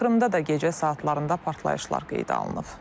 Krımda da gecə saatlarında partlayışlar qeydə alınıb.